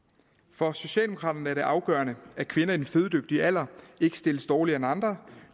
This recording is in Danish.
for socialdemokraterne er det afgørende at kvinder i den fødedygtige alder ikke stilles dårligere end andre